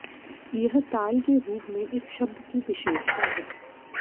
यह ताल के रूप में एक शब्द की विशेषता है